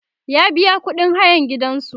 ya biya ƙuɗin hayan gidansu